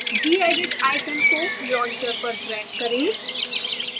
gedit icon को launcher पर drag करें